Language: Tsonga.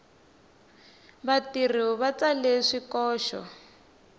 vatirhi va tsale swikoxo